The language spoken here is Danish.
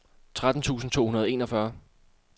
tretten tusind to hundrede og enogfyrre